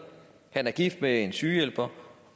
han er gift med en sygehjælper